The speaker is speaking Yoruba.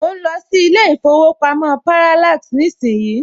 Mo ń lọ sí ilé ìfowópamọ́ Parallax nísìnyí